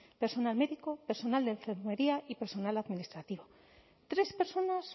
personal médico personal de enfermería y personal administrativo tres personas